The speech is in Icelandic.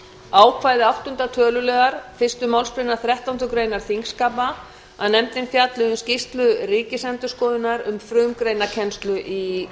ákvæði áttunda töluliðar fyrstu málsgreinar þrettándu greinar þingskapa að nefndin fjalli um skýrslu ríkisendurskoðunar um frumgreinakennslu